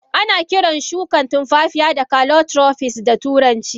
Ana kirar Shukan tunfafiya da calotropist da turanci.